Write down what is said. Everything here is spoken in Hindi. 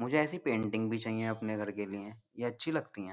मुझे ईएसआई पेंटिंग भी चाहिए अपने लिए ये अच्छी लगती है।